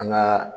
An ka